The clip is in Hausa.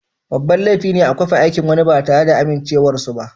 Babban laifi ne a kwafi aikin wani ba tare da amincewar su ba.